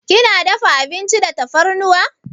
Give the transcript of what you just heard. Kina dafa abinci da tafarnuwa?